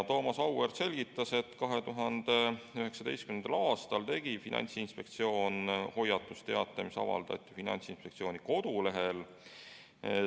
Thomas Auväärt selgitas, et 2019. aastal tegi Finantsinspektsioon hoiatusteate, mis avaldati Finantsinspektsiooni kodulehel.